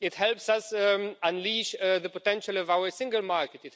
it helps us unleash the potential of our single market